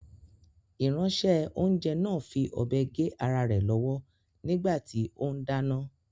Ìránṣẹ́-oúnjẹ náà fi ọ̀bẹ gé ara rẹ̀ lọ́wọ́ nígbà tí ó ń dáná.